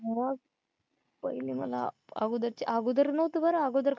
मग पहिले मला अगोदर चे अगोदर नव्हतं बरं अगोदर काय